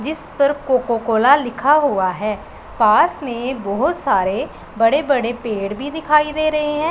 जिस पर Coca Cola लिखा हुआ है पास में बहोत सारे बड़े बड़े पेड़ भी दिखाई दे रहे हैं।